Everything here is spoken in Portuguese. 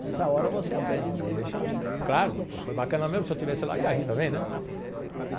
Nessa hora, você aprende, deixa... Claro, foi bacana mesmo, se eu estivesse lá, ia rir também, né?